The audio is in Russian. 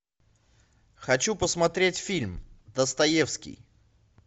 хочу посмотреть фильм достоевский